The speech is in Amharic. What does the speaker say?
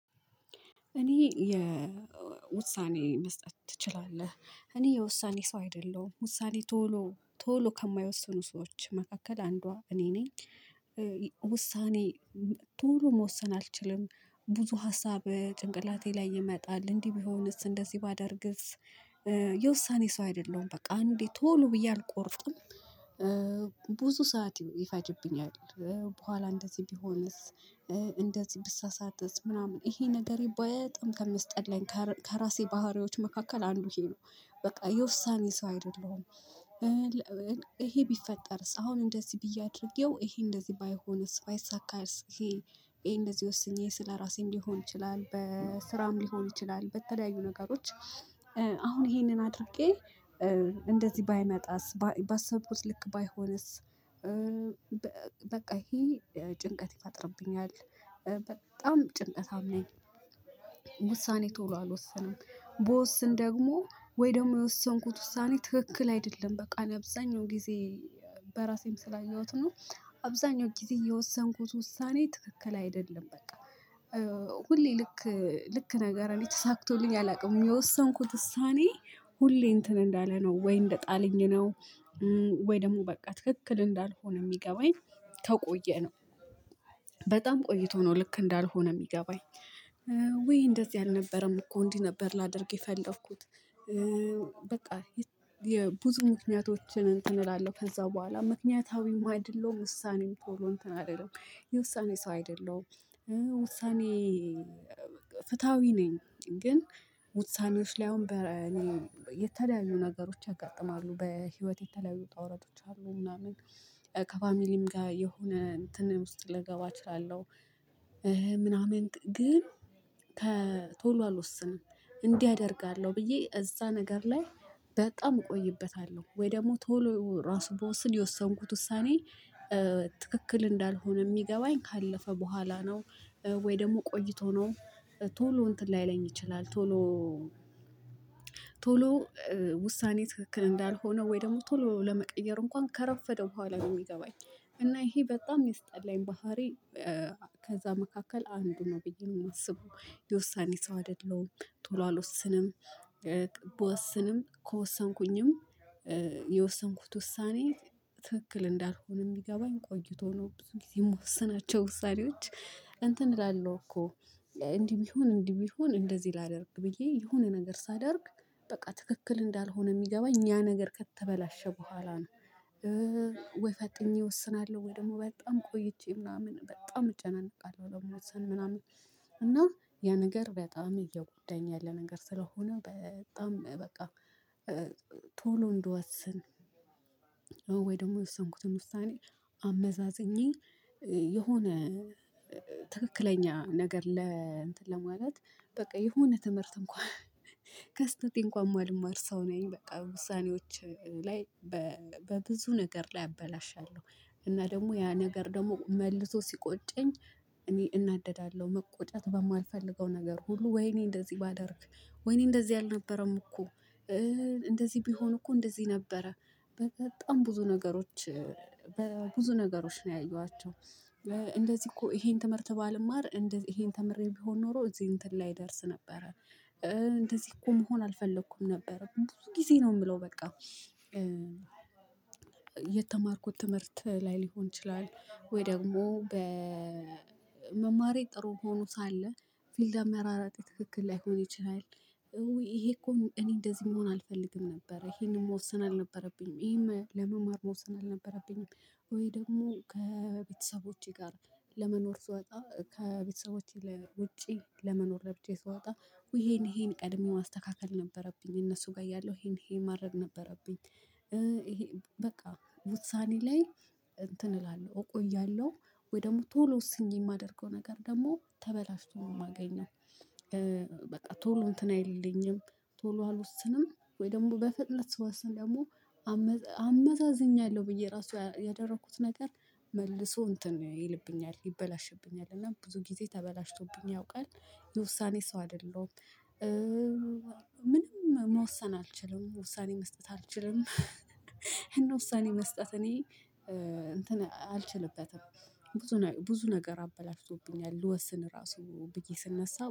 እኔ የውሳኔ መስጠት ትችላለህ እኔ የውሳኔ ሰው አይደለሁም ውሳኔ ቶሎ ከማይወስኑ ሰዎች መካከል አንዷ እኔ ነኝ። ውሳኔ ቶሎ መወሰን አልችልም ብዙ ሀሳብ ጭንቅላቴ ላይ ይመጣል እንዲህ ቢሆንስ እንደዚህ ባደርግስ የውሳኔ ሰው አይደለሁም በቃ እንዴ ቶሎ ብዬ አልቆርጥም። ብዙ ሰዓት ይፈጅብኛል። በኋላ እንደዚህ ቢሆንስ እንደዚህ ብሳሳትስ ምናምን ይሄ ነገሬ በጣም ከሚያስጠላኝ ከራሴ ባህሪዎች መካከል አንዱ ይሄ ነው። በቃ የውሳኔ ሰው አይደለሁም። ይሄ ቢፈጠርስ አሁን እንደዚህ ብዬ አድርጌው ይሄ እንደዚህ ባይሆንስ ባይሳካስ ይሄ እንደዚህ ወስኜ ስለራሴ ሊሆን ይችላል በስራም ሊሆን ይችላል በተለያዩ ነገሮች። አሁን ይሄንን አድርጌ እንደዚህ ባይመጣስ ባሰብኩት ልክ ባይሆንስ ይሄ ጭንቀት ይፈጥርብኛል። በጣም ጭንቀታም ነኝ ቶሎ አልወሰንም ብወስን ደግሞ ወይ ደግሞ የወሰንኩት ውሳኔ ትክክል አይደለም በቃ አብዛኛው ጊዜ በራሴም ስላየሁት ነው አብዛኛው ጊዜ የወሰንኩት ውሳኔ ትክክል አይደለም በቃ። ሁሌ ልክ ልክ ነገር እኔ ተሳክቶልኝ አላውቅም የወሰንኩት ውሳኔ ሁሌ እንትን እንዳለ ነው ወይ እንደጣለኝ ነው ወይ ደግሞ በቃ ትክክል እንዳልሆነ የሚገባኝ ተቆየ ነው። በጣም ቆይቶ ነው ልክ እንዳልሆነ የሚገባኝ ወይ እንደዚህ አልነበረም እኮ እንዲህ ነበር ላደርግ የፈለኩት። በቃ የብዙ ምክንያቶችን እንትን እላለሁ ከዛ በኋላ ምክንያታዊም አይደለሁም ውሳኔም ቶሎ እንትን አልልም የውሳኔ ሰው አይደለሁም። ውሳኔ ፍትሃዊ ነኝ ግን ውሳኔዎች ላይ አሁን በ እኔ የተለያዩ ነገሮች ያጋጥማሉ በህይወት የተለያዩ ውጣ ወረዶች አሉ ምናምን ከፋሚሊም ጋር የሆነ እንትን ውስጥ ልገባ እችላለሁ። ምናምን ግን ቶሎ አልወስንም እንዲህ አደርጋለሁ ብዬ እዛ ነገር ላይ በጣም እቆይበታለሁ ወይ ደግሞ ቶሎ ራሱ ብወስን የወሰንኩት ውሳኔ ትክክል እንዳልሆነ የሚገባኝ ካለፈ በኋላ ነው። ወይ ደግሞ ቆይቶ ነው ቶሎ እንትን ላይለኝ ይችላል ቶሎ ቶሎ ውሳኔ ትክክል እንዳልሆነ ወይ ደግሞ ቶሎ ለመቀየር እንኳን ከረፈደ በኋላ ነው የሚገባኝ እና ይሄ በጣም ያሰጠላኝ ባህሪ። ከዛ መካከል አንዱ ነው ብዬ የማስበው የውሳኔ ሰው አይደለሁም ቶሎ አልወስንም። ብወስንም ከወሰንኩኝም የወሰንኩት ውሳኔ ትክክል እንዳልሆነ የሚገባኝ ቆይቶ ነው። ብዙ ጊዜ የምወስናቸው ውሳኔዎች እላለሁ እኮ እንዲህ ቢሆን እንዲህ ቢሆን እንደዚህ ላደርግ ብዬ የሆነ ነገር ሳደርግ በቃ ትክክል እንዳልሆነ የሚገባ እኛ ነገር ከተበላሸ በኋላ ነው። ወይ ፈጥኜ እወስናለሁ ወይ ደግሞ በጣም ቆይቼ ምናምን በጣም እጨናነቃለሁ ለመወስን ምናምን እና ያ ነገር በጣም እየጎዳኝ ያለ ነገር ስለሆነ በጣም በቃ። ቶሎ እንድወሰን ወይ ደግሞ የወሰንኩትን ውሳኔ አመዛዝኜ የሆነ ትክክለኛ ነገር ለ እንትን ለማለት በቃ የሆነ ትምህርት እንኳን ከስተቴ እንኳን ሰው ነኝ በቃ ውሳኔዎች ላይ በብዙ ነገር ላይ አበላሻለሁ። እና ደግሞ ያ ነገር ደግሞ መልሶ ሲቆጨኝ እኔ እናደዳለሁ መቆጨት በማልፈልገው ነገር ሁሉ ወይኔ እንደዚህ ባደርግ ወይኔ እንደዚህ አልነበረም እኮ። እንደዚህ ቢሆን እኮ እንደዚህ ነበረ በጣም ብዙ ነገሮች በብዙ ነገሮች ነው ያየኋቸው እንደዚህ እኮ ይሄን ትምህርት ባልማር እንደዚህ ይሄን ተምሬ ቢሆን ኖሮ እዚህ እንትን ላይደርስ ነበረ። እንደዚህ እኮ መሆን አልፈለኩም ነበረ ብዙ ጊዜ ነው የምለው በቃ። የተማርኩት ትምህርት ላይ ሊሆን ይችላል ወይ ደግሞ በመማሬ ጥሩ ሆኖ ሳለ ፊልድ አመራራጤ ትክክል ላይሆን ይችላል። እውይ ይሄ እኮ እኔ እንደዚህ መሆን አልፈልግም ነበር ይሄንን መወሰን አልነበረብኝም ይሄም ለመማር መውሰን አልነበረብኝም። ወይ ደግሞ ከቤተሰቦቼ ጋር ለመኖር ስወጣ ከቤተሰቦቼ ላይ ውጪ ለመኖር ለብቻየ ስወጣ ይሄን ይሄን ቀድሜ ማስተካከል ነበረብኝ እነሱ ጋር ያለው ይሄን ይሄ ማድረግ ነበረብኝ። ይሄ በቃ ውሳኔ ላይ እንትን እላለሁ እቆያለሁ ወይ ደግሞ ቶሎ ውስኜ የማደርገው ነገር ደግሞ ተበላሽቶ ነው የማገኘው። በቃ ቶሎ እንትን አይልልኝም ቶሎ አልወስንም ወይ ደግሞ በፍጥነት ስወስን ደግሞ አመዛዝኘ ብዬ ራሱ ያደረኩት ነገር መልሶ እንትን ይልብኛል ይበላሽብኛል እና ብዙ ጊዜ ተበላሽቶብኝ ያውቃል የውሳኔ ሰው አይደለሁም። ምንም መወሰን አልችልም ውሳኔ መስጠት አልችልም። ይሄን ውሳኔ መስጠት እኔ እንትን አልችልበትም ብዙ ብዙ ነገር አበላሽቶብኛል ልወስን ራሱ ብዬ ስነሳ